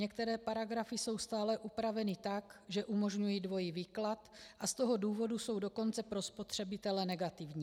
Některé paragrafy jsou stále upraveny tak, že umožňují dvojí výklad, a z toho důvodu jsou dokonce pro spotřebitele negativní.